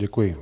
Děkuji.